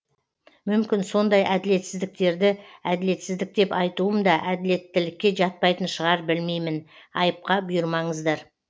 мүмкін сондай әділетсіздіктерді әділетсіздік деп айтуым да әділеттілікке жатпайтын шығар білмеймін айыпқа бұйырмаңыздар